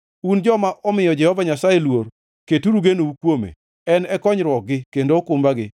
Un joma omiyo Jehova Nyasaye luor, keturu genou kuome, En e konyruokgi kendo okumbagi.